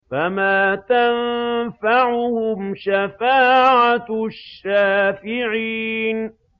فَمَا تَنفَعُهُمْ شَفَاعَةُ الشَّافِعِينَ